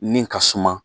Min ka suma